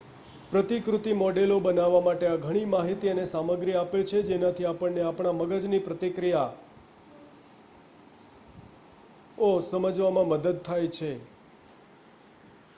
પ્રતિકૃતિ મૉડલો બનાવવા માટે આ ઘણી માહિતી અને સામગ્રી આપે છે જેનાથી આપણને આપણા મગજની પ્રક્રિયાઓ સમજવામાં મદદ થાય છે